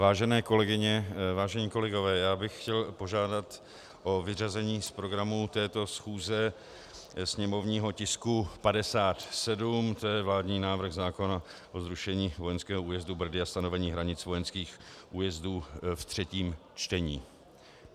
Vážené kolegyně, vážení kolegové, já bych chtěl požádat o vyřazení z programu této schůze sněmovního tisku 57, to je vládní návrh zákona o zrušení vojenského újezdu Brdy a stanovení hranic vojenských újezdů ve třetím čtení.